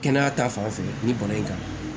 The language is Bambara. Kɛnɛya ta fanfɛ ni bana in kan